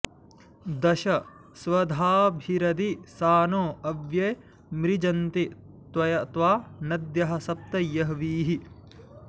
दश स्वधाभिरधि सानो अव्ये मृजन्ति त्वा नद्यः सप्त यह्वीः